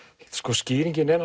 skýringin er